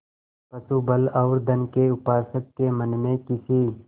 पशुबल और धन के उपासक के मन में किसी